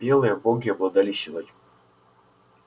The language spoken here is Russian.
белые боги обладали силой